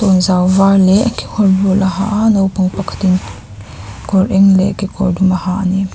tawnzau var leh kekawr bul a ha a naupang pakhat in kawr eng leh kekawr dum a ha ani.